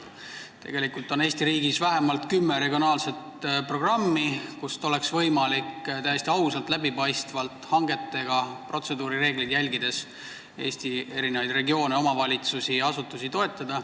Tegelikult on Eesti riigis vähemalt kümme regionaalset programmi, kust oleks võimalik täiesti ausalt, läbipaistvalt, hangetega ja protseduurireegleid järgides Eesti regioone, omavalitsusi ja asutusi toetada.